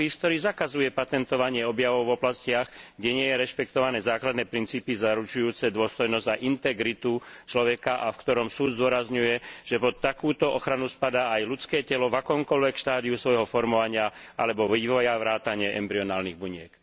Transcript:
Greenpeace, ktorý zakazuje patentovanie objavov v oblastiach, kde nie sú rešpektované základné princípy zaručujúce dôstojnosť a integritu človeka, a v ktorom súd zdôrazňuje, že pod takúto ochranu spadá aj ľudské telo v akomkoľvek štádiu svojho formovania alebo vývoja vrátane embryonálnych buniek.